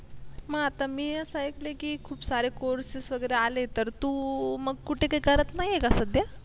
मग आता मी असं ऐकलं आहे की खूप सारे courses वगैरे आलेले आहेत तर तू मग कुठे काही करत नाहीये का आता सध्या